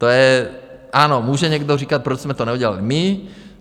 To je - ano, může někdo říkat, proč jsme to neudělali my?